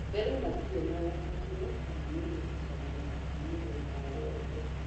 Mbere matirĩ na ũkabira kama mũthutũkanio wa mũthemba o wothe.